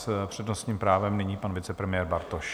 S přednostním právem nyní pan vicepremiér Bartoš.